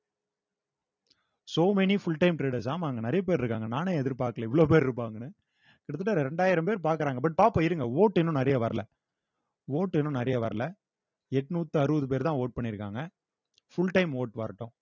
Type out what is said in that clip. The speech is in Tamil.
so many full time traders ஆமா அங்க நிறைய பேர் இருக்காங்க நானே எதிர்பார்க்கல இவ்வளவு பேர் இருப்பாங்கன்னு கிட்டத்தட்ட இரண்டாயிரம் பேர் பார்க்கிறாங்க but top இருங்க ஓட்டு இன்னும் நிறைய வரல ஓட்டு இன்னும் நிறைய வரல எட்நூத்து அறுவது பேர் தான் vote பண்ணிருக்காங்க full time vote வரட்டும்